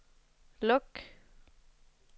luk